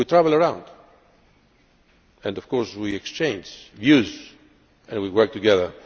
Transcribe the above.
We travel around, and of course we exchange views and work together.